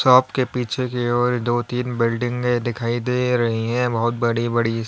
Shop के पीछे की ओर दो तीन बिल्डिंगें दिखाई दे रही हैं बहुत बड़ी बड़ी।